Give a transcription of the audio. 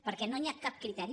perquè no hi ha cap criteri